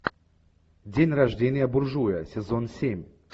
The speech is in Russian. день рождения буржуя сезон семь